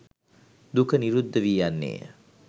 දුක නිරුද්ධ වී යන්නේ ය.